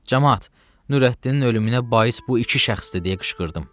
Camaat, Nurəddinin ölümünə bais bu iki şəxsdir deyə qışqırdım.